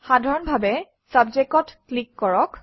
সাধাৰণভাৱে Subject অত click কৰক